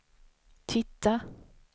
titta